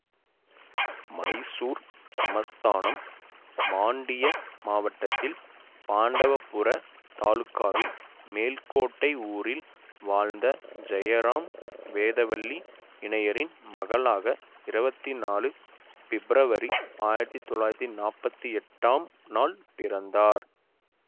மைசூர் சமஸ்தானம் மாண்டியா மாவட்டத்தில் பாண்டவபுரா தாலுகாவில் மேல்கோட்டை ஊரில் வாழ்ந்த ஜெயராம் வேதவல்லி இணையரின் மகளாக இருவத்தி நாலு பிப்ரவரி ஆயிரத்தி தொள்ளாயிரத்தி நாப்பத்தி எட்டாம் நாள் பிறந்தார்